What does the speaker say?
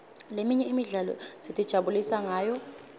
leminye imidlalo sitijabulisa ngayo